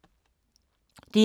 DR2